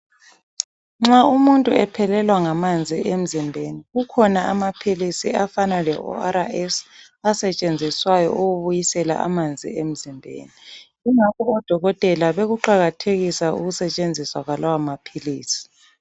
Nxa umuntu ephelelwa ngamanzi emzimbeni kukhona amaphilisi afana leO.R.S asetshenziswayo ukubisela amanzi emzimbeni. Yingakho odokotela bekuqakathekisa ukusetshenziswa kwalawomaphilisi.